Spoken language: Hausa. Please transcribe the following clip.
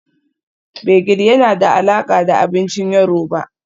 Gbegiri yana da alaƙa da abincin yoruba